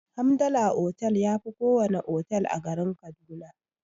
Hamdala otal yafi kowana otal a garin kaduna.